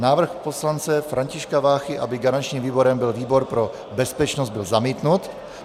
Návrh poslance Františka Váchy, aby garančním výborem byl výbor pro bezpečnost byl zamítnut.